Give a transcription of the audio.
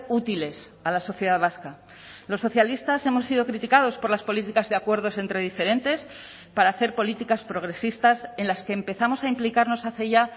útiles a la sociedad vasca los socialistas hemos sido criticados por las políticas de acuerdos entre diferentes para hacer políticas progresistas en las que empezamos a implicarnos hace ya